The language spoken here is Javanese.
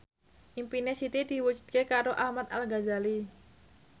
impine Siti diwujudke karo Ahmad Al Ghazali